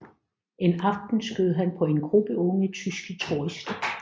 En aften skød han på en gruppe unge tyske turister